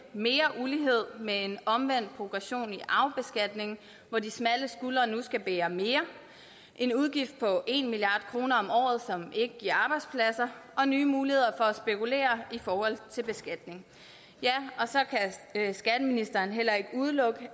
mere ulighed med en omvendt progression i arvebeskatningen hvor de smalle skuldre nu skal bære mere en udgift på en milliard kroner om året som ikke giver arbejdspladser og nye muligheder for at spekulere i forhold til beskatning ja og så kan skatteministeren heller ikke udelukke